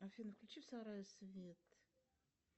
афина включи в сарае свет